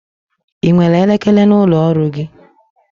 I nwere elekere n'ụlọ ọrụ gi?